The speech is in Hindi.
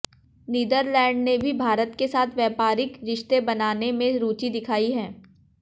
नीदरलैंड ने भी भारत के साथ व्यापारिक रिश्ते बनाने में रुचि दिखायी है